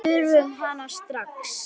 Við þurfum hana strax.